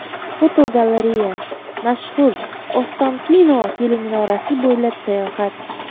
Fotogalereya: Mashhur Ostankino teleminorasi bo‘ylab sayohat.